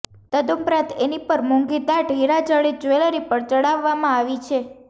તદુપરાંત એની પર મોંઘીદાટ હીરાજડિત જ્વેલરી પણ ચડાવવામાં આવી છે